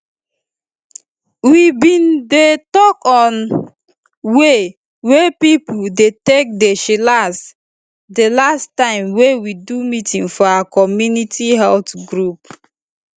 we bin dey talk on way wey pipo dey take dey chillax di last time wey we do meeting for our community health group